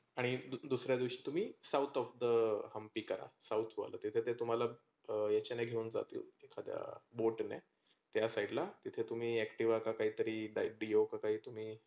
आणि दुसऱ्या दिवशी तुम्ही south of the हंम्पी करा. south वालं तिथे ते तुम्हाला अह याच्याने घेऊन जातील एखाद्या बोटीने. त्या side ला तिथे तुम्ही Activa का काही तरी काय Dio का काय तुम्ही